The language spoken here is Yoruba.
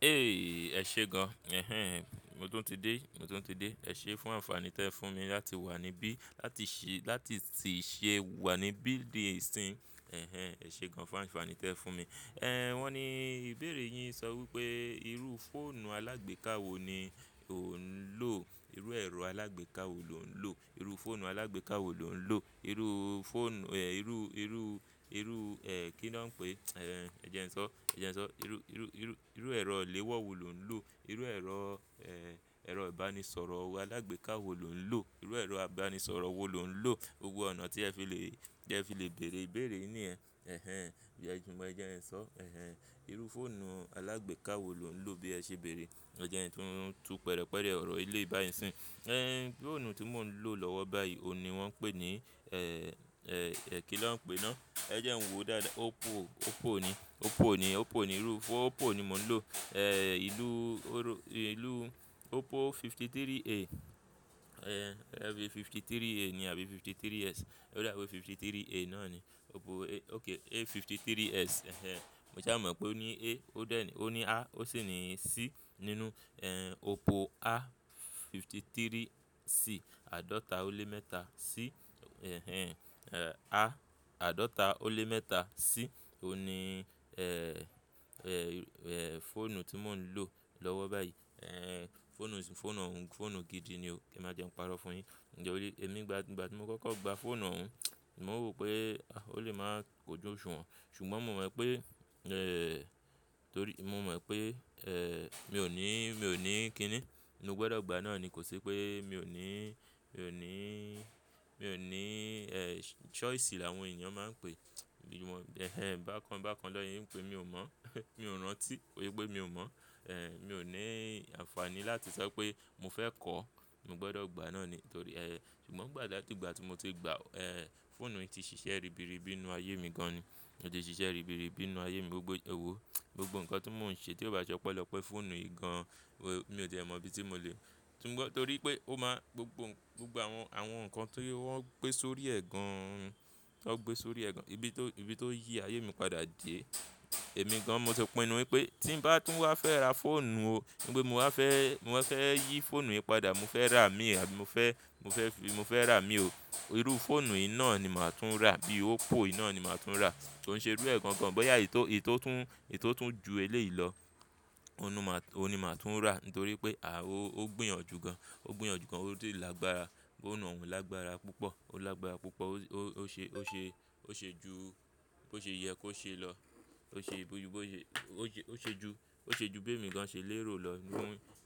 "Ẹ ṣé gan, mo tún ti dé, mo tún ti dé. Ẹ ṣé fún ànfààní tí ẹ fún mi láti wà níbí, láti ti ṣe wà níbí di ìsín. Ẹ ṣé gan fún ànfàní tí ẹ fún mi. Wọ́n ni ìbéèrè yín sọ wípé irú fóònù alágbèká wo ni ò ń lò? Irú ẹ̀rọ alágbèká wo lò ń lò? Irú fóònù alágbèká wo lò ń lò? Irú fóònù, irú, irú, irú, kí ni wọ́n ń pè é? Ẹ jẹ́ n sọ, ẹ jẹ́ n sọ. Irú, irú, irú, irú ẹ̀rọ iléwọ́ wo lò ń lò? Irú ẹ̀rọ, ẹ̀rọ ìbánisọ̀rọ̀ alágbèká wo lò ń lò? Irú ẹ̀rọ ìbánisọ̀rọ̀ wo lò ń lò? Gbogbo ọ̀nà tí ẹ fi le, tí ẹ fi le bèèrè ìbéèrè yìn yẹ̀n. Bí ẹ gba, jẹ́ ẹ sọ. Irú fóònù alágbèká wo lò ń lò bí ẹ ṣe bèèrè? Ọ̀ jẹ̀ ń tu pẹ̀rẹ̀pẹ̀rẹ̀ ọ̀rọ̀ eléyì báyì nísín. Fóònù tí mò ń lò lọ́wọ́ báyìí òun ní wọ́n n pè ní, kí náà ń pè náà? Ẹ jẹ́ n wòó dáadáa. Oppo, Oppo ni, Oppo ni, Oppo ni irú fóònù, Oppo ni mò ń lò. Ìlú Oppo 53A, 53A ni àbí 53S. Ó dábi pé 53A náà ni. Oppo A, A53S. Mo ṣà mọ̀ pé ó ní a, ó dà ní, ó ní a, ó sì ní C nínú. Oppo A53C, àádọ́ta ó lé mẹ́ta C. A àádọ́ta ó lé mẹ́ta C òní fóònù tí mò ń lò lọ́wọ́ báyìí. Fóònù yìí, fóònù òun, fóònù gidi ni ó. Kẹ́ máa jẹ́ n parọ́ fún yín. Ǹjẹ́ o lè, èmi nígbà tí mo kọ́kọ́ gba fóònù òun, mò ń rò pé ó lè máa kójú òṣùwọ̀n. Ṣùgbọ́n mo mọ̀ pé, torí mo mọ̀ pé mi ò ní, mi ò ní kí ni. Mó gbọdọ̀ gba náà ni, kò sí pé mi ò ní, mi ò ní, mi ò ní choice làwọn ènìyàn máa ń pè. Bíi wọn, bákan bákan náà ṣe n pé mi ò mọ̀. Mi ò rántí kì ṣe pé mi ò mọ̀. Mi ò ní ànfàní láti sọ pé mo fẹ́ kọ́, mo gbọdọ̀ gba náà ni. Torí, ṣùgbọ́n ngbà láti ìgbà tí mo ti gba, fóònù yìí ti ṣiṣẹ́ ribiribi nínú ayé mi gan ni. Ó ti ṣiṣẹ́ ribiribi nínú ayé mi. Gbogbo, ẹ wò ó, gbogbo nǹkan tí mò ń ṣe tí ó bá sọpelope fóònù yìí gan, mi ò ti è mọ ibi tí mo lè nítorí pé ó máa gbogbo, gbogbo àwọn, àwọn nǹkan tó wọ́n gbé sórí ẹ̀ gan, tan gbé sórí ẹ̀ gan. Ibi tó, ibi tó yí ayé mi padà dẹ̀. Èmi gan mo ti pinnu wípé tí ń bá tún wá fẹ́ ra fóònù o, wípè mo wá fẹ́, mo fẹ́ yí fóònù yìí padà, mo fẹ́ rà á mì àbí mo fẹ́, mo fẹ́ fi, mo fẹ́ rà á mì o. Irú fóònù yìí ná ni màá tún rà. Bí Oppo yì náà ni màá tún rà. Kò n ṣe irú ẹ̀ gangan bóyá èyí tó, èyí tó tún, èyí tó tún ju eléyí lọ. Òun ní màá, òun ni màá tún rà nítorí pé a, ó gbìyànjú gan. Ó gbìyànjú gan, ó dè lágbára. Fóònù òun lágbára púpọ̀. Ó lágbára púpọ̀. Ó ṣe, ó ṣe, ó ṣe ju, bó ṣe yẹ kó ṣe lọ. Ó ṣe ju, ó ṣe ju, ó ṣe ju bí èmi gan ṣè lérò lọ